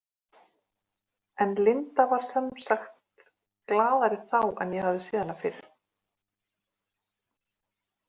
En Linda var sem sagt glaðari þá en ég hafði séð hana fyrr.